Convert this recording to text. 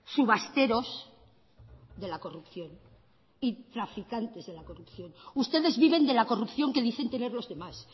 subasteros de la corrupción y traficantes de la corrupción ustedes viven de la corrupción que dicen tener los demás